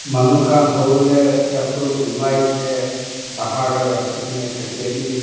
manu khan hall te chapal olai kena bahar te rakhi kena thakia bi--